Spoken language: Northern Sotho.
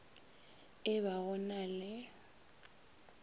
e ba go na le